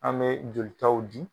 An bɛ jolitaw di